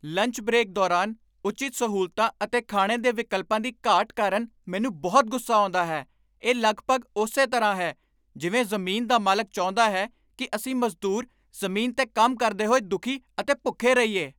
Lunch break ਦੌਰਾਨ ਉਚਿਤ ਸਹੂਲਤਾਂ ਅਤੇ ਖਾਣੇ ਦੇ ਵਿਕਲਪਾਂ ਦੀ ਘਾਟ ਕਾਰਨ ਮੈਨੂੰ ਬਹੁਤ ਗੁੱਸਾ ਆਉਂਦਾ ਹੈ। ਇਹ ਲਗਭਗ ਉਸੇ ਤਰ੍ਹਾਂ ਹੈ ਜਿਵੇਂ ਜ਼ਮੀਨ ਦਾ ਮਾਲਕ ਚਾਹੁੰਦਾ ਹੈ ਕਿ ਅਸੀਂ ਮਜ਼ਦੂਰ ਜ਼ਮੀਨ 'ਤੇ ਕੰਮ ਕਰਦੇ ਹੋਏ ਦੁਖੀ ਅਤੇ ਭੁੱਖੇ ਰਹੀਏ।